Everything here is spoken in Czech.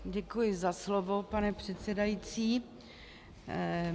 Děkuji za slovo, pane předsedající.